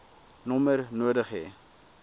nommer nodig hê